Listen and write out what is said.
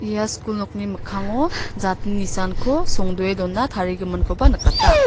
ia skul nokni mikkango jatni nisanko songdoe dona tarigiminkoba nikata.